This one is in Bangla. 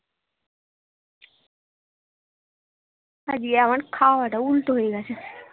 আজকে আমার খাওয়া টা উল্টো হয়ে গেছে